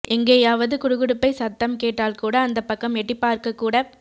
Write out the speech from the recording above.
எங்கேயாவது குடுகுடுப்பை சத்தம் கேட்டால்கூட அந்தப் பக்கம் எட்டிப் பார்க்க கூடப்